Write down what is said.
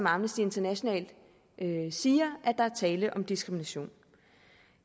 amnesty international siger at der er tale om diskrimination